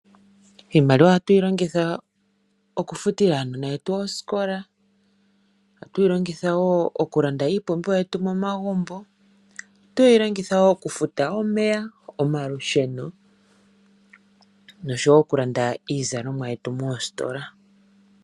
Iimaliwa oha tu yi longitha oku futila uunona wetu moosikola, oha tu yi longitha wo oku landa iipumbiwa yetu momagumbo, oha tu yi longitha wo oku futa omeya, omalusheno nosho wo okulanda iizalomwa moositola.